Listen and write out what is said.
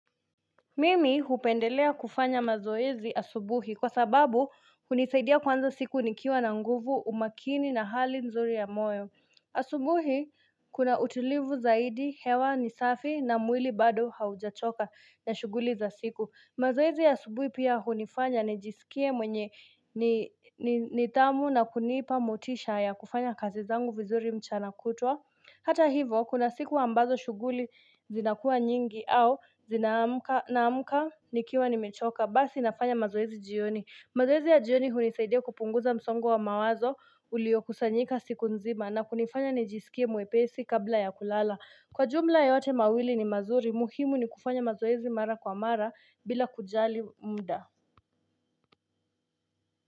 Mimi hupendelea kufanya mazoezi asubuhi kwa sababu hunisaidia kuanza siku nikiwa na nguvu umakini na hali nzuri ya moyo. Asubuhi kuna utulivu zaidi hewa nisafi na mwili bado haujachoka na shughuli za siku. Mazoezi ya asubuhi pia hunifanya nijisikie mwenye nidhamu na kunipa motisha ya kufanya kazi zangu vizuri mchana kutwa. Hata hivyo, kuna siku ambazo shughuli zinakua nyingi au zinaamka naamka nikiwa nimechoka. Basi nafanya mazoezi jioni. Mazoezi ya jioni hunisaidia kupunguza msongo wa mawazo uliokusanyika siku nzima na kunifanya nijisikie mwepesi kabla ya kulala. Kwa jumla yote mawili ni mazuri, muhimu ni kufanya mazoezi mara kwa mara bila kujali muda.